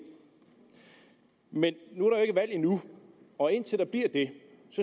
men der jo ikke valg endnu og indtil der bliver det